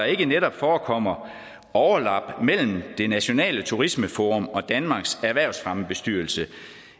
ikke netop forekommer overlapning mellem det nationale turismeforum og danmarks erhvervsfremmebestyrelse